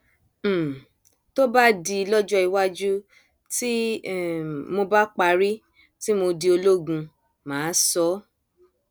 um tó bá di lọjọ iwájú tí um mo bá parí tí mo di ológun mà á sọ ọ